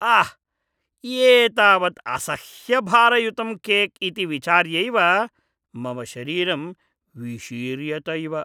आह्! एतावत् असह्यभारयुतं केक् इति विचार्यैव मम शरीरं विशीर्यत इव।